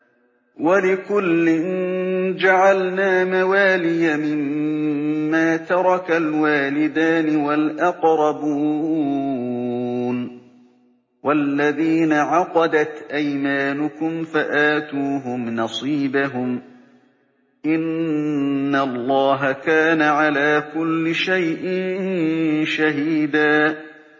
وَلِكُلٍّ جَعَلْنَا مَوَالِيَ مِمَّا تَرَكَ الْوَالِدَانِ وَالْأَقْرَبُونَ ۚ وَالَّذِينَ عَقَدَتْ أَيْمَانُكُمْ فَآتُوهُمْ نَصِيبَهُمْ ۚ إِنَّ اللَّهَ كَانَ عَلَىٰ كُلِّ شَيْءٍ شَهِيدًا